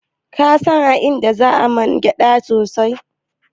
Ka san a inda zan man gyaɗa mai kyau?